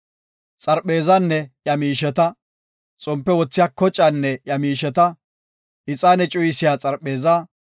Xarpheezanne iya miisheta, xompe wothiya kocaanne iya miisheta, ixaane cuyisiya xarpheezaa,